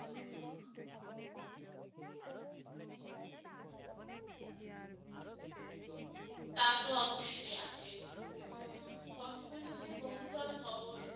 তা তো অব্যশই আছে উম বর্তমানে যে বহুতল ভবন